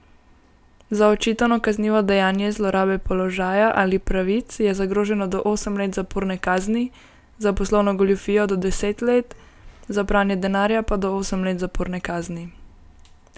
Za očitano kaznivo dejanje zlorabe položaja ali pravic je zagroženo do osem let zaporne kazni, za poslovno goljufijo do deset let, za pranje denarja pa do osem let zaporne kazni.